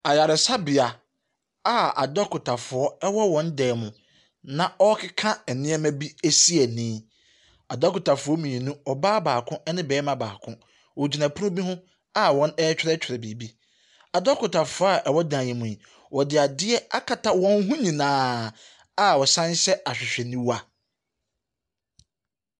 Ayaresabea a adɔkotafoɔ wɔ wɔn dan mu na wɔrekeka nneɛma bi si ani. Adɔkotafoɔ mmienu, ɔbaa baako ne barima baako. Wɔgyina pono bi ho a wɔretwerɛtwerɛ biribi. Adɔkotafoɔ a wɔwɔdan yi mu yi, wɔde adeɛ akata wɔn ho nyinaa, a wɔsane hyɛ ahwehwɛniwa.